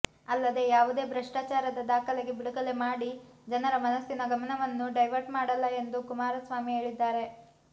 ಅಲ್ಲದೇ ಯಾವುದೇ ಭ್ರಷ್ಟಾಚಾರದ ದಾಖಲೆ ಬಿಡುಗಡೆ ಮಾಡಿ ಜನರ ಮನಸಿನ ಗಮನವನ್ನು ಡೈವರ್ಟ್ ಮಾಡಲ್ಲ ಎಂದು ಕುಮಾರಸ್ವಾಮಿ ಹೇಳಿದ್ದಾರೆ